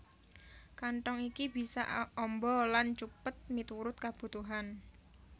Kanthong iki bisa amba lan cupet miturut kabutuhan